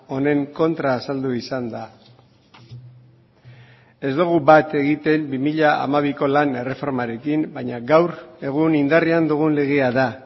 honen kontra azaldu izan da ez dugu bat egiten bi mila hamabiko lan erreformarekin baina gaur egun indarrean dugun legea da